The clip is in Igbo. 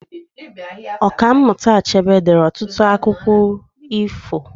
Ọka mmụta Achebe deere ọtụtụ akwụkwọ akụkọ ifo